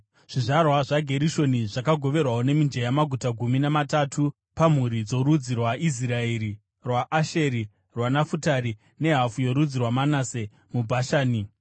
Zvizvarwa zvaGerishoni zvakagoverwawo nemijenya maguta gumi namatatu pamhuri dzorudzi rwaIsraeri, rwaAsheri, rwaNafutari, nehafu yorudzi rwaManase muBhashani.